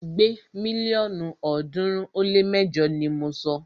Gbé mílíọ̀nù ọ̀ọ́dúnrún ó lé mẹjọ ni mọ sọ!